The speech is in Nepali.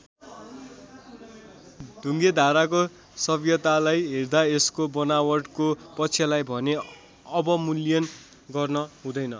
ढुङ्गे धाराको सभ्यतालाई हेर्दा यसको बनावटको पक्षलाई भने अवमूल्यन गर्न हुँदैन।